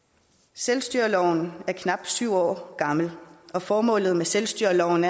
selvstyreloven er knap syv år gammel og formålet med selvstyreloven